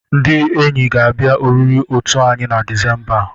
Ndị enyi ga-abịa oriri otu anyị na Disemba a.